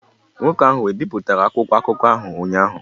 Nwoke ahụ ebipụtara akwụkwọ akụkọ ahụ ụnyahụ?